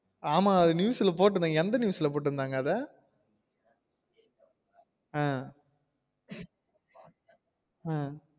ஆமா அத news ல போட்டுருந்தாங்க எந்த news ல போட்டுந்தாங்க அத? அஹ் அஹ்